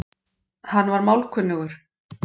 Hann var málkunnugur